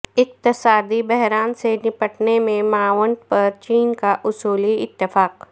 اقتصادی بحران سے نمٹنے میں معاونت پر چین کا اصولی اتفاق